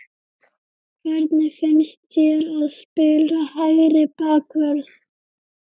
Hvernig finnst þér að spila hægri bakvörð?